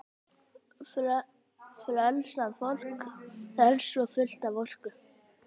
Frelsað fólk er svo fullt af orku.